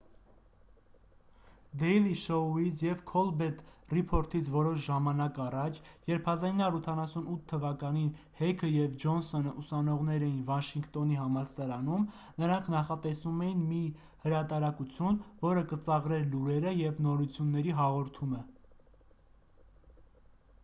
դեյլի շոույից և քոլբերտ ռիփորթից որոշ ժամանակ առաջ երբ 1988 թվականին հեքը և ջոնսոնը ուսանողներ էին վաշինգտոնի համալսարանում նրանք նախատեսում էին մի հրատարակություն որը կծաղրեր լուրերը և նորությունների հաղորդումը